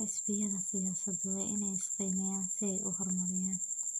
Xisbiyada siyaasaddu waa inay is qiimeeyaan si ay u horumariyaan.